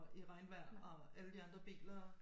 I regnvejr og alle de andre biler